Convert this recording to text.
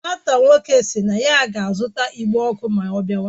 Nwata nwoke si na ya ga azuta igbe oku ma o biawa